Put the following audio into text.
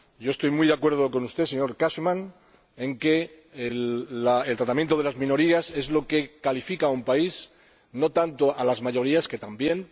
Estoy muy de acuerdo con usted, señor Cashman, en que el tratamiento de las minorías es lo que califica a un país, no tanto el de las mayorías, aunque también.